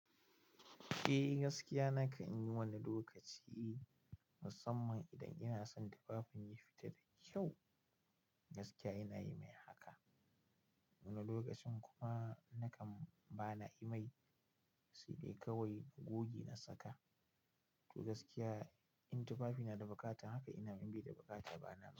Eh gaskiya nakan yi wani lokaci musamman idan ina son tufafin ya fita da kyau. Gaskiya inayi mai haka. Wani lokacin kuma nakan ba na yi mai sai dai kawai goge na saka. To gaskiya in tufafi na da bukata haka ina min bi da bukata bana mai.